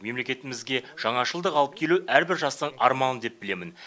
мемлекетімізге жаңашылдық алып келу әрбір жастың арманы деп білемін